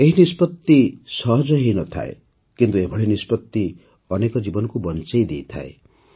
ଏହି ନିଷ୍ପତ୍ତି ସହଜ ହୋଇନଥାଏ କିନ୍ତୁ ଏଭଳି ନିଷ୍ପତ୍ତି ଅନେକ ଜୀବନକୁ ବଞ୍ଚାଇ ଦେଇଥାଏ